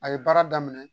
A ye baara daminɛ